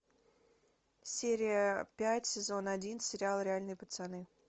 серия пять сезон один сериал реальные пацаны